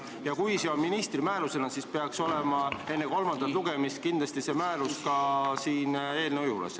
Ja kui see tuleb ministri määrusega, siis peaks olema enne kolmandat lugemist kindlasti see määrus ka siin eelnõu juures.